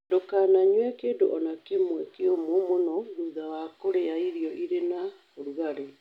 Ndũkananyue kĩndũ o na kĩmwe kĩũmũ mũno thutha wa kũrĩa irio irĩ na ũrugarĩ.